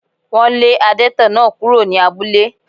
Wọ́n lé adẹ́tẹ̀ náà kúrò ní abúlé